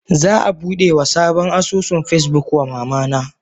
Za a budewa sabon asusun Facebook wa mamana.